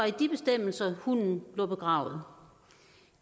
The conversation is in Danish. i de bestemmelser hunden lå begravet